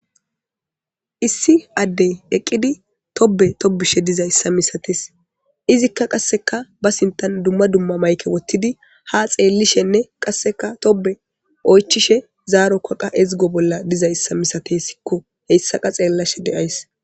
issi addey eqqidi tobbe tobbishe dizayssa misates izikka qasseka ba sintan duma duma mayke wottidi ha xeellishenne qasseka tobbe oychishe zaaro koqa ezgo bolla dizayssa misatesikko heyssaqa xeellashe de7ays.